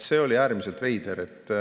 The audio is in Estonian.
See oli äärmiselt veider.